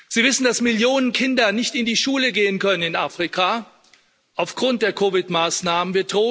Sie wissen, dass Millionen Kinder nicht in die Schule gehen können in Afrika aufgrund der COVID 19 Maßnahmen.